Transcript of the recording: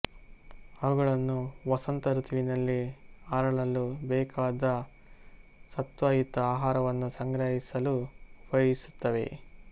ಅವುಗಳನ್ನು ವಸಂತ ಋತುವಿನಲ್ಲಿ ಅರಳಲು ಬೇಕಾದ ಸತ್ವಯುತ ಆಹಾರವನ್ನು ಸಂಗ್ರಹಿಸಲು ಉಪಯೋಗಿಸುತ್ತವೆ